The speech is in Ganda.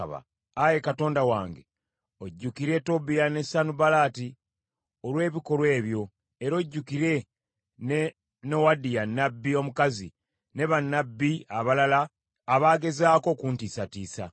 Ayi Katonda wange ojjukire Tobiya ne Sanubalaati olw’ebikolwa ebyo, era ojjukire ne Nowadiya nnabbi omukazi ne bannabbi abalala abaagezaako okuntiisatiisa.